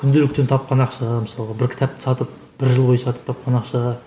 күнделіктен тапқан ақша мысалға бір кітапты сатып бір жыл бойы сатып тапқан ақшаға